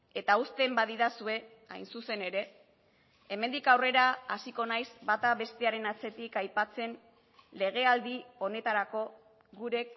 eta uzten badidazue hain zuzen ere hemendik aurrera hasiko naiz bata bestearen atzetik aipatzen legealdi honetarako gure